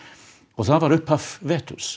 og það var upphaf